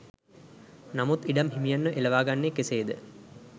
නමුත් ඉඩම් හිමියන්ව එලවාගන්නේ කෙසේ ද